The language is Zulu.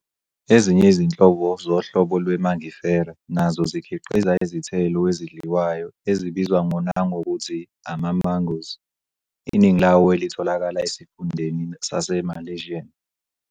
Ezinye izinhlobo zohlobo lwe-Mangifera nazo zikhiqiza izithelo ezidliwayo ezibizwa nangokuthi "ama-mangoes", iningi lawo elitholakala esifundeni saseMalesian.